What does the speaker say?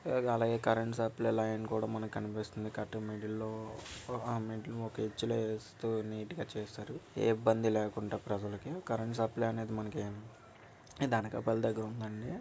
Sai current అదే ఇబ్బంది లేకుండా ప్రజలు కరెంట్ సప్లై చేయండి.